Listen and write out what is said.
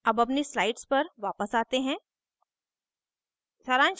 अब अपनी slide पर वापस आते हैं